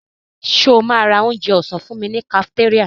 Ṣo ma ra onjẹ ọ̀sán fúnmi ní kafitéríà?